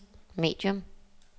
medium